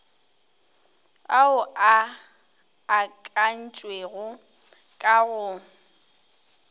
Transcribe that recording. ao a akantšwego ka go